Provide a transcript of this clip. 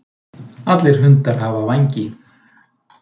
allir hundar hafa vængi